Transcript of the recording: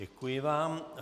Děkuji vám.